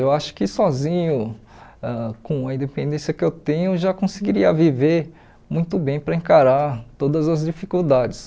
Eu acho que sozinho, ãh com a independência que eu tenho, já conseguiria viver muito bem para encarar todas as dificuldades.